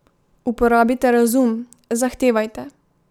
Uporabite razum, zahtevajte ...